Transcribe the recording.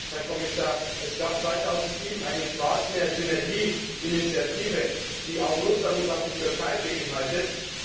Herr Kommissar, es gab 2007 eine Schwarzmeersynergieinitiative, die Russland und auch die Türkei beinhaltet.